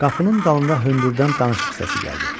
Qapının dalında hündürdən danışıq səsi gəldi.